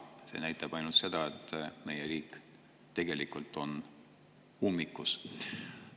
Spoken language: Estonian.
See näitab ainult seda, et meie riik on ummikus.